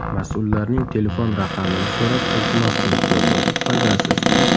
Mas’ullarning telefon raqamini so‘rab iltimos qilib ko‘rdim, foydasiz.